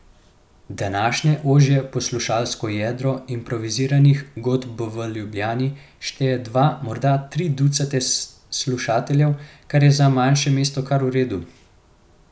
Današnje ožje poslušalsko jedro improviziranih godb v Ljubljani šteje dva, morda tri ducate slušateljev, kar je za manjše mesto kar v redu.